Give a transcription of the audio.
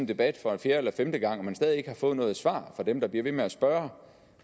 debat for fjerde eller femte gang og man stadig ikke har fået noget svar fra dem der bliver ved med at spørge